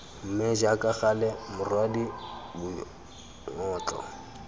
mme jaaka gale morwadie boingotlo